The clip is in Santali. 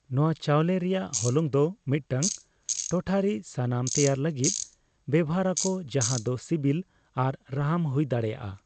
ᱱᱚᱣᱟ ᱪᱟᱣᱞᱮ ᱨᱮᱭᱟᱜ ᱦᱚᱞᱚᱝ ᱫᱚ ᱢᱤᱫᱴᱟᱝ ᱴᱚᱴᱷᱟᱨᱤ ᱥᱟᱢᱟᱱ ᱛᱮᱭᱟᱨ ᱞᱟᱹᱜᱤᱫ ᱵᱮᱣᱦᱟᱨ ᱟᱠᱚ ᱡᱟᱦᱟᱸ ᱫᱚ ᱥᱤᱵᱤᱞ ᱟᱨ ᱨᱟᱦᱟᱢ ᱦᱩᱭ ᱫᱟᱲᱮᱭᱟᱜᱼᱟ ᱾